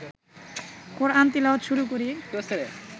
কোরআন তিলাওয়াত শুরু করি